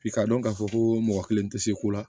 I k'a dɔn k'a fɔ ko mɔgɔ kelen tɛ se ko la